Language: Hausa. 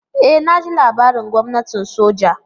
E naji labarin gwamnatin soja.